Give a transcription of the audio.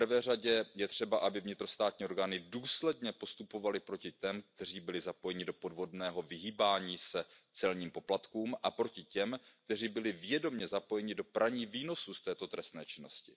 V prvé řadě je třeba, aby vnitrostátní orgány důsledně postupovaly proti těm, kteří byli zapojeni do podvodného vyhýbání se celním poplatkům, a proti těm, kteří byli vědomě zapojeni do praní výnosů z této trestné činnosti.